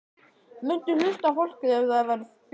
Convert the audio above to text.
Muntu hlusta á fólkið ef það verður fjölmennt?